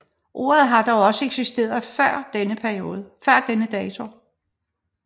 Ordet har dog også eksisteret før denne dato